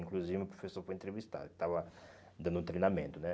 Inclusive meu professor foi entrevistado, estava dando treinamento, né?